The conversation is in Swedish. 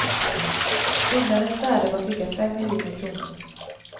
Byggnadens värde var cirka fem miljoner kronor.